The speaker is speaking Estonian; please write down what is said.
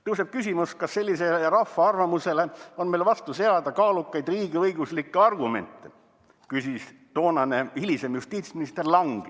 "Tõuseb küsimus, kas sellisele rahva arvamusele on meil vastu seada kaalukaid riigiõiguslikke argumente," küsis hilisem justiitsminister Lang.